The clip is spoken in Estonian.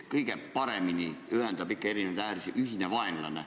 Kõige paremini ühendab erinevaid ääri ühine vaenlane.